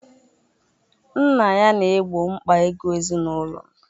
Nna ya na-egbo mkpa ego ezinụlọ.